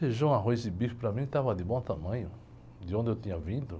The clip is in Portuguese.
Feijão, arroz e bife para mim estava de bom tamanho, de onde eu tinha vindo.